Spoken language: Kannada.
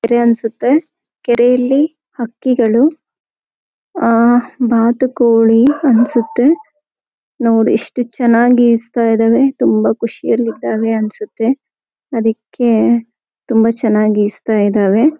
ಕೆರೆ ಅನಸುತ್ತೆ ಕೆರೆಯಲ್ಲಿ ಹಕ್ಕಿಗಳು ಆಹ್ ಬಾತುಕೋಳಿ ಅನಸುತ್ತೆ. ನೋಡಿ ಎಷ್ಟು ಚನ್ನಾಗಿ ಈಜಾತಾ ಇದಾವೆ ತುಂಬಾ ಖುಷಿಯಲ್ಲಿ ಇದಾವೆ ಅನಸುತ್ತೆ ಅದಕ್ಕೆ ತುಂಬಾ ಚನ್ನಾಗಿ ಈಜಾತಾ ಇದಾವೆ.